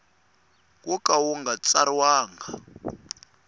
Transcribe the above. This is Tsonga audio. wo ka wu nga tsariwangi